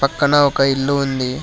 పక్కన ఒక ఇల్లు ఉంది.